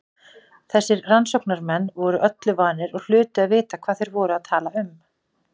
Þessir rannsóknarmenn voru öllu vanir og hlutu að vita hvað þeir voru að tala um.